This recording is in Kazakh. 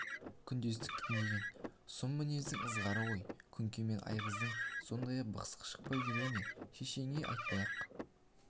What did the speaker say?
күндестік деген сұм мінездің ызғары ғой күнке мен айғыздан сондай бықсық шықпай жүре ме шешеңе айтпай-ақ